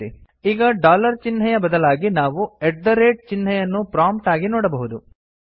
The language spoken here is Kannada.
ಈಗ ಡಾಲರ್ ಚಿಹ್ನೆಯ ಬದಲಾಗಿ ನಾವು ಎಟ್ ದ ರೇಟ್ ಚಿಹ್ನೆಯನ್ನು ಪ್ರೊಮ್ಪ್ಟ್ ಆಗಿ ನೋಡಬಹುದು